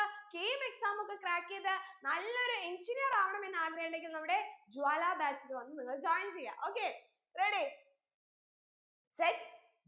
KEAMexam ഒക്കെ crack എയ്ത് നല്ലൊരു engineer അവണെന്നു ആഗ്രഹുണ്ടെങ്കിൽ നമ്മടെ ജ്വാല batch ൽ വന്നു നിങ്ങൾ join ചെയ്യാ okay ready set